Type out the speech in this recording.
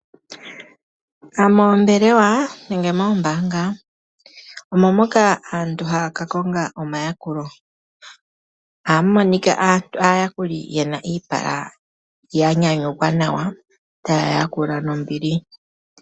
Moombelewa nenge moombaanga omo moka aantu haa ka konga omayakulo. Ohamu monika aayakuli ye na iipala ya nyanyukwa nawa, taya yakula nombili.